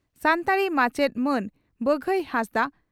ᱥᱟᱱᱛᱟᱲᱤ ᱢᱟᱪᱮᱫ ᱢᱟᱱ ᱵᱟᱜᱟᱭ ᱦᱟᱸᱥᱫᱟᱜ